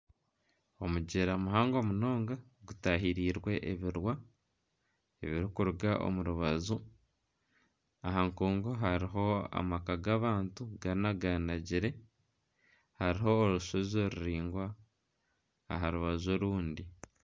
Omugyera muhango munonga gutahirirwe ebirwa biri kuruga omu rubaju. Aha nkungu hariho amaka g'abantu ganaganagire, hariho orushozi ruringwa aha rubaju orundi